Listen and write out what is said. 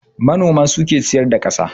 Manoma suke ciyar da kasa